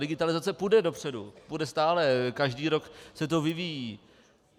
Digitalizace půjde dopředu, půjde stále, každý rok se to vyvíjí.